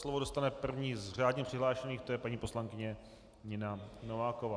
Slovo dostane první z řádně přihlášených, to je paní poslankyně Nina Nováková.